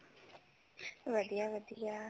ਵਧੀਆ ਵਧੀਆ